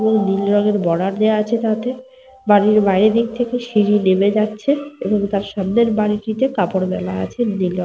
ও নীল রঙের বর্ডার দেওয়া আছে তাতে। বাড়ির বাইরে দিক থেকে সিঁড়ি নেমে যাচ্ছে এবং তার সামনের বাড়িটিতে কাপড় মেলা আছে নীল রঙে--